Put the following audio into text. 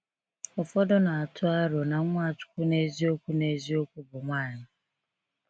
Ụfọdụ na atụ aro na Nwachukwu n’eziokwu n’eziokwu bụ nwanyị.